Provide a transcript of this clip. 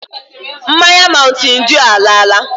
Mmanya mountain dew alaala.